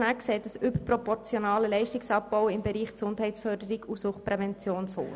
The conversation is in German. Schnegg sieht einen überproportionalen Leistungsabbau im Bereich Gesundheitsförderung und Suchtprävention vor.